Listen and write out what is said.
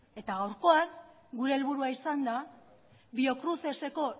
eta gaurkoan gure helburua izan da biocruceseko